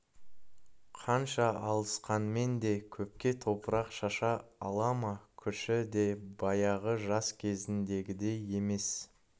қанша алысқанмен де көпке топырақ шаша ала ма күші де баяғы жас кезіндегідей емес